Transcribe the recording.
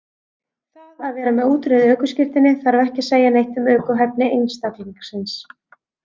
Það að vera með útrunnið ökuskírteini þarf ekki að segja neitt um ökuhæfni einstaklingsins.